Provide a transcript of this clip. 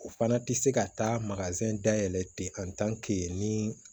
O fana tɛ se ka taa dayɛlɛ ten ni